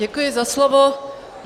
Děkuji za slovo.